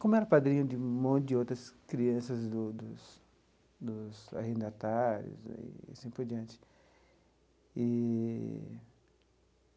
Como era padrinho de um monte de outras crianças do dos dos arrendatários e aí assim por diante eee.